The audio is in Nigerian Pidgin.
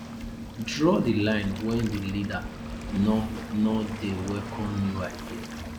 draw di line when di leader no no de welcome new ideas